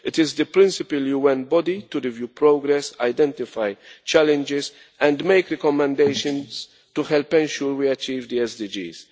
It is the principal UN body to review progress, identify challenges and make recommendations to help ensure we achieve the SDGs.